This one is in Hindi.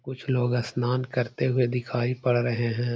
कुछ लोग अस्नान करते हुए दिखाई पड़ रहें हैं ।